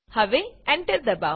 હવે એન્ટર દબાવો